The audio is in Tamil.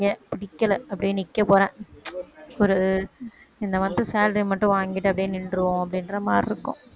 பிடிக்கல அப்படியே நிக்கப்போறேன் ஒரு இந்த month salary மட்டும் வாங்கிட்டு அப்படியே நின்றுவோம் அப்படின்ற மாதிரி இருக்கும்.